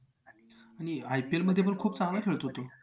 आणि IPL मध्ये पण खूप चांगला खेळतो तो